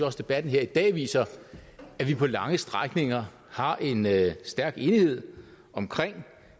også debatten her i dag viser at vi på lange strækninger har en stærk enighed omkring